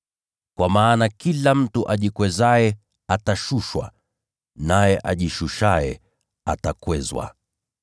Kwa maana kila mtu ajikwezaye atashushwa, naye ajishushaye atakwezwa.”